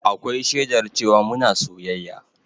Akwai shaidar cewa muna soyayya